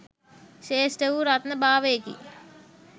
ශ්‍රේෂ්ඨ වූ රත්න භාවයෙකි.